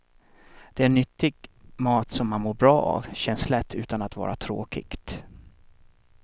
Det är nyttig mat som man mår bra av, känns lätt utan att vara tråkigt.